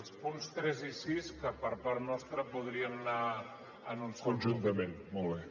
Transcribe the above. els punts tres i sis que per part nostra podrien anar en un sol bloc